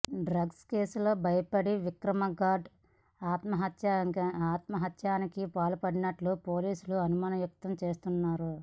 drugs కేసుకు భయపడి విక్రమ్గౌడ్ ఆత్మహత్యాయత్నానికి పాల్పడినట్లు పోలీసులు అనుమానం వ్యక్తం చేస్తున్నారు